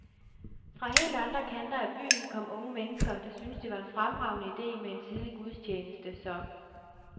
Fra helt andre kanter af byen kom unge mennesker, der syntes det var en fremragende idé med en tidlig gudstjeneste, så